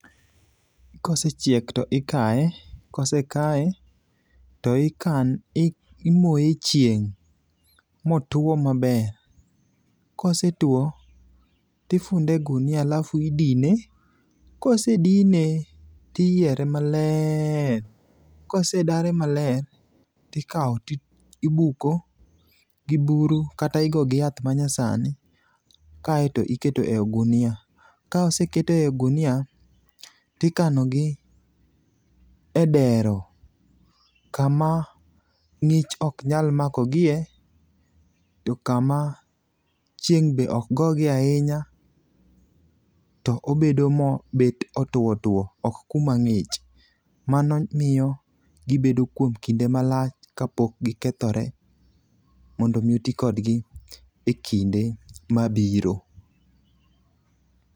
kosechiek to ikaye, kosekaye to imoye e chieng' motuwo maber. Kosetuwo, tifunde e gunia alafu idine. Kosedine, tiyiere maler, kosedare maler, tikawo tibuko gi buru kata igo gi yath manyasani kaaye to iketo e ogunia. Ka oseket e ogunia tikanogi e dero kama ng'ich ok nyal mako gie ,to kama chieng' be ok gogie ahinya to obedo mo bet otuwo otuwo, ok kuma ng'ich. Mano miyo gibedo kuom kinde malach kapok gikethore, mondo omi oti kodgi e kinde mabiro.